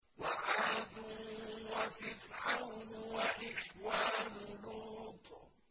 وَعَادٌ وَفِرْعَوْنُ وَإِخْوَانُ لُوطٍ